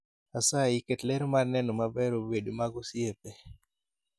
asayi ket ler mar neno maber obed mag osiepe